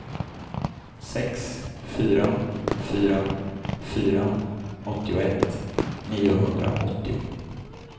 sex fyra fyra fyra åttioett niohundraåttio